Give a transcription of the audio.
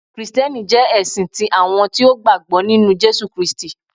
Kristiẹniti jẹ ẹsin ti awọn eniyan ti o gbagbọ ninu Jesu Kristi.